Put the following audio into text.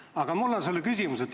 Aga mul on sulle küsimus.